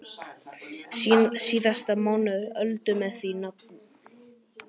Síðasti mánuður Öldu með því nafni.